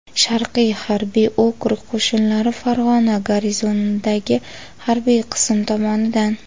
Sharqiy harbiy okrug qo‘shinlari Farg‘ona garnizonidagi harbiy qism tomonidan.